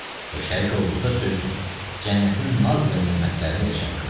Və şərik olduqda söz yox, cənnətin naz və nemətlərinə də şərik oldum.